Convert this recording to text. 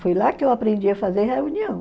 Foi lá que eu aprendi a fazer reunião.